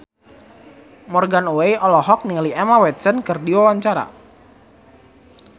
Morgan Oey olohok ningali Emma Watson keur diwawancara